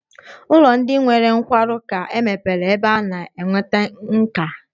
Ụlọ ndi nwere nkwarụ ka mepere ebe a na-enweta nkà